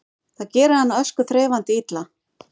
Það gerir hana öskuþreifandi illa